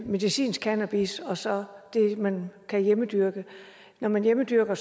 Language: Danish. medicinsk cannabis og så det man kan hjemmedyrke når man hjemmedyrker